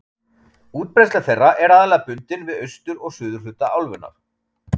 Útbreiðsla þeirra er aðallega bundin við austur- og suðurhluta álfunnar.